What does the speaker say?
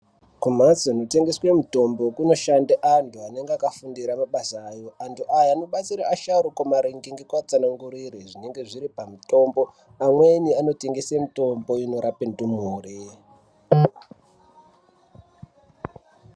Kumhatso kunotengeswe mitombo kunoshande antu anenge akafundira mabasa awo antu aya anobatsira asharuka kumaringe nekuatsanangurire zvinenge zviri pamutombo amweni anotengese mitombo inobatsire ndumure.